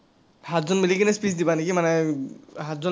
সাতজন মিলি কিনাই speech দিবা নেকি মানে, সাতজন